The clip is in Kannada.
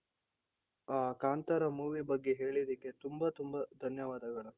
ಆ ಕಾಂತಾರ movie ಬಗ್ಗೆ ಹೇಳಿದ್ದಕ್ಕೆ ತುಂಬಾ ತುಂಬಾ ಧನ್ಯವಾದಗಳು.